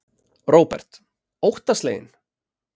Róbert: Óttasleginn?